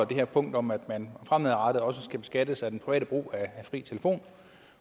det her punkt om at man fremadrettet også skal beskattes af den private brug af fri telefon